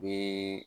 U bɛ